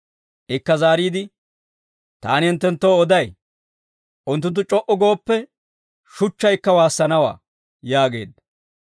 Ikka zaariide, «Taani hinttenttoo oday, unttunttu c'o"u gooppe, shuchchaykka waassanawaa» yaageedda.